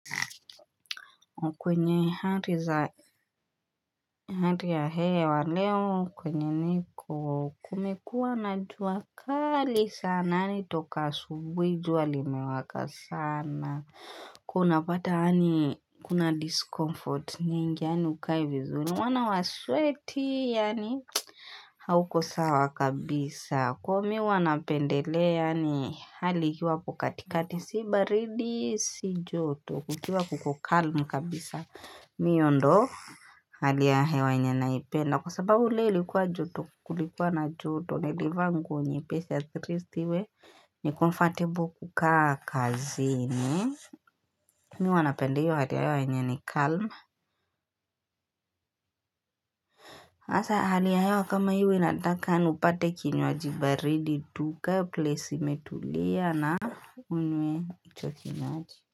Kwenye hali za hali ya hewa leo kwenye niko kumekua na jua kali sana yaani toka asubuhi jua limewaka sana unapata yaani kuna diskomfort nyingi yaani hukai vizuri maana waswetiiii yaani hauko sawa kabisa kwa mimi huwa napendelea ni hali ikiwa iko katikati si baridi si joto kukiwa kuko calm kabisa miondo hali ya hewa yenye naipenda kwa sababu leo ilikuwa joto kulikuwa na joto nilivaa nguo nyepesi atleast iwe nicomfortable kukaa kazini. Mimi huwa napenda hiyo hali ya hewa yenye ni calm hasa hali ya hewa kama hii huwa inataka upate kinywaji baridi tu, ukae place imetulia na unywe hicho kinywaji.